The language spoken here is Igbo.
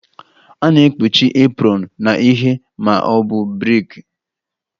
A na-ekpuchi apron na ihe ma ọ bụ brik